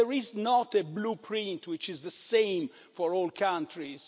There is not a blueprint which is the same for all countries.